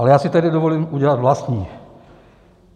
A já si tedy dovolím udělat vlastní.